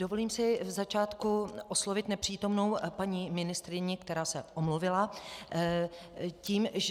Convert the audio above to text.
Dovolím si v začátku oslovit nepřítomnou paní ministryni, která se omluvila,